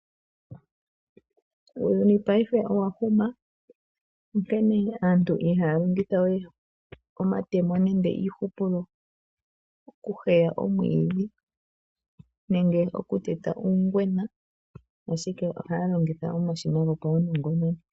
Uuyuni paife owa huma onkene aantu ihaya longitha we omatemo nenge iihupulo okuheya omwiidhi nenge okuteta uungwena ashike ohaya longitha omashina ngoka.